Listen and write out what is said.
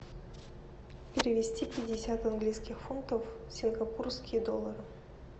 перевести пятьдесят английских фунтов в сингапурские доллары